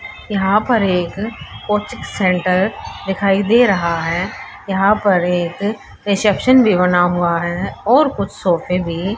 यहां पर एक कोचिक सेंटर दिखाई दे रहा है यहां पर एक रिसेप्शन भी बना हुआ है और कुछ सोफे भी --